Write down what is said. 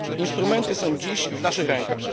Instrumenty są dziś w naszych rękach.